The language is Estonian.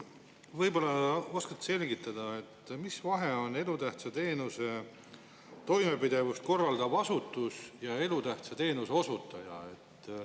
Võib-olla oskate selgitada, mis vahe on: elutähtsa teenuse toimepidevust korraldav asutus ja elutähtsa teenuse osutaja?